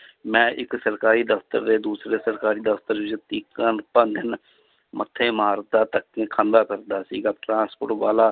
ਮੈਂ ਇੱਕ ਸਰਕਾਰੀ ਦਫ਼ਤਰ ਦੇ ਦੂਸਰੇ ਸਰਕਾਰੀ ਦਫ਼ਤਰ ਵਿੱਚ ਮੱਥੇ ਮਾਰਦਾ ਧੱਕੇ ਖਾਂਦਾ ਫਿਰਦਾ ਸੀਗਾ transport ਵਾਲਾ